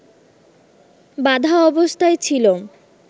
বাঁধা অবস্থায় ছিল